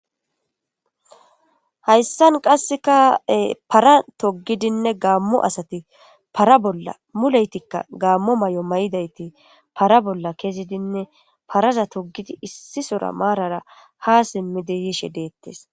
Hayssan qassekae para togidinne gaammo asati para bolla muleytikka gaammo may'o may'idayti para bolla kezidinne paraza togidi issi sora maarara ha simmideyishe deettes.